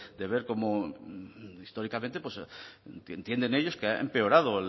de ver cómo históricamente entienden ellos que ha empeorado